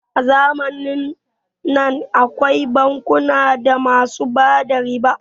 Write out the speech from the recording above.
A zamanin nan akwai bankuna da basu bada riba